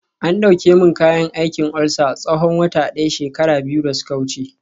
an dauke min kayan aikin ulcer tsawon wata daya shekara biyu da suka wuce